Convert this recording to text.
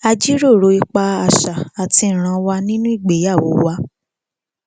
a jíròrò ipa àṣà àti ìranwa nínú ìgbéyàwó wa